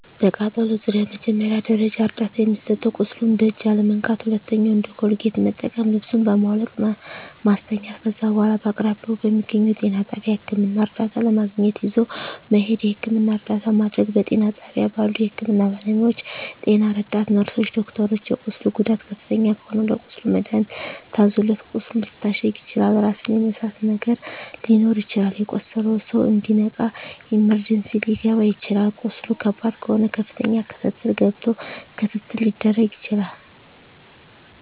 በቃጠሎ ዙሪያ መጀመሪያ ደረጃ እርዳታ የሚሰጠዉ ቁስሉን በእጅ አለመንካት ሁለተኛዉ እንደ ኮልጌት መጠቀም ልብሱን በማዉለቅ ማስተኛት ከዛ በኋላ በአቅራቢያዎ በሚገኘዉ ጤና ጣቢያ ህክምና እርዳታ ለማግኘት ይዞ መሄድ የህክምና እርዳታ ማድረግ በጤና ጣቢያ ባሉ የህክምና ባለሞያዎች ጤና ረዳት ነርስሮች ዶክተሮች የቁስሉ ጉዳት ከፍተኛ ከሆነ ለቁስሉ መድሀኒት ታዞለት ቁስሉ ሊታሸግ ይችላል ራስን የመሳት ነገር ሊኖር ይችላል የቆሰለዉ ሰዉ እንዲነቃ ኢመርጀንሲ ሊከባ ይችላል ቁስሉ ከባድ ከሆነ ከፍተኛ ክትትል ገብቶ ክትትል ሊደረግ ይችላል